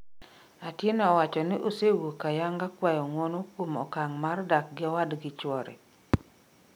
Atieno owacho ni osewuok ayanga kwayo ng'uono kuom okang' mar dak gi owadgi chwore